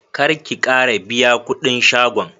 Karki Kara biya kudin shagon